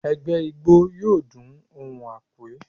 Ẹgbẹ́ ijó Igbo yọọ dún ohún ekwe